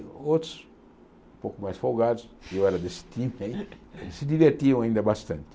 Outros, um pouco mais folgados, eu era desse time aí, se divertiam ainda bastante.